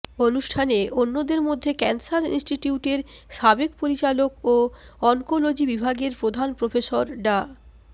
অনুষ্ঠানে অন্যদের মধ্যে ক্যান্সার ইনস্টিটিউটের সাবেক পরিচালক ও অনকোলজি বিভাগের প্রধান প্রফেসর ডা